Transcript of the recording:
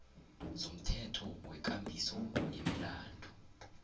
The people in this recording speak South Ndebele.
zomthetho wekambiso yemilandu